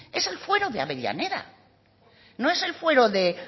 es el fuero de avellaneda no es el fuero de